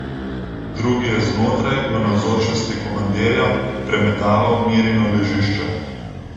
Drugi je znotraj, v navzočnosti komandirja, premetaval Mirino ležišče.